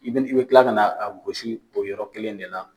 I be kila ka na a gosi o yɔrɔ kelen in de la.